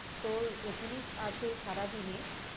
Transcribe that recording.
তোর SMS আসে সারাদিনে